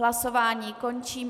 Hlasování končím.